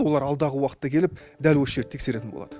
олар алдағы уақытта келіп дәл осы жерді тексеретін болды